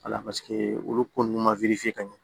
Wala paseke olu ko ninnu ma ka ɲɛ